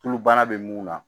Tulu bana bɛ mun na